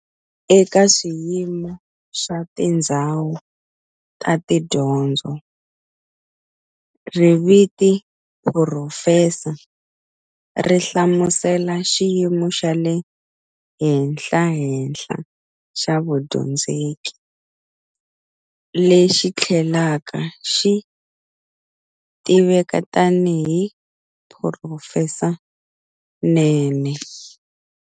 Eka swiyimo swa tindzhawu ta tidyondzo, riviti"phurofesa" ri hlamusela xiyimo xa le henhlahenhla xa vudyondzeki, lexi thlelaka xi tiveka tani hi"Phurofesanene".